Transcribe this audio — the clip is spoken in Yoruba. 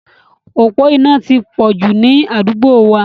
Òpó iná ti pọ̀ jù ni àdúgbò wa.